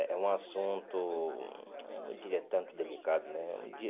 É é um assunto, eu não diria tanto delicado, né?